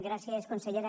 gràcies consellera